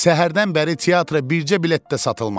Səhərdən bəri teatra bircə bilet də satılmamışdı.